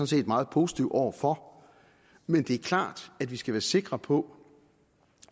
set meget positiv over for men det er klart at vi skal være sikre på